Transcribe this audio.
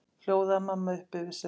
hljóðaði mamma upp yfir sig.